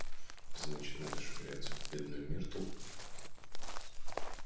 значит надо швыряться в бедную миртл